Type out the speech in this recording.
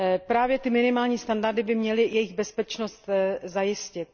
Právě minimální standardy by měly jejich bezpečnost zajistit.